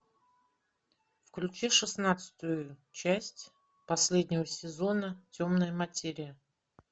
включи шестнадцатую часть последнего сезона темная материя